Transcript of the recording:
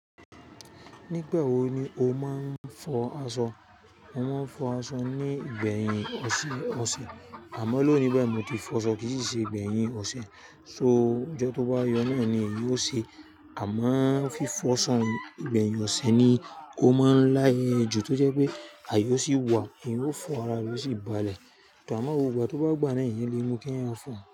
Nígbà wo ni o máa ń fọ aṣọ? Mo máa ń fọ aṣọ ní gbẹ̀yìn ọ̀sẹ̀̀ ọ̀sẹ̀ àmọ́ lónìí bayii mò ti fọ aṣọ kí sì ṣe igbẹ̀yìn ọ̀sẹ̀. So ọjọ́ tó bá yọ náà ni èyí ó ṣe. A mo ń fi fọ aṣọ igbẹ̀yìn ọ̀sẹ̀ ni ó máa ń láye jù tó jẹ́ pé àye oo sì wà èeyan ó fọ ara re oo ṣì balẹ̀. Tàbí à máa gbó gbá, tó bá gbà náà eeyan lè mú kí ẹeyan fọ.